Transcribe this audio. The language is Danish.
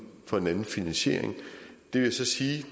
for en anden finansiering det vil så sige